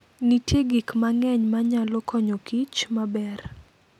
Nitie gik mang'eny manyalo konyokich maber.